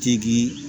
Tigi